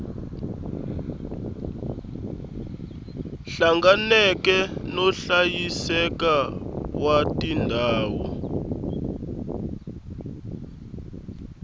hlanganeke no hlayiseka wa tindhawu